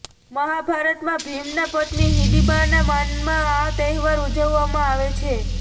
મહાભારતમાં ભીમના પત્ની હિંડિબાના માનમાં આ તહેવાર ઉજવવામાં આવે છે